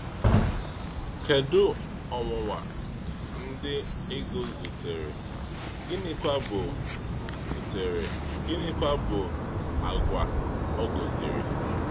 Kedu ọnwụnwa ndị Égó zutere, gịnịkwa bụ zutere, gịnịkwa bụ àgwà ọ gosiri?